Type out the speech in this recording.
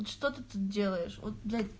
что ты тут делаешь от блять